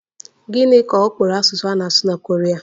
Gịnị ka ọ kpọrọ asụsụ a na-asụ na Koria?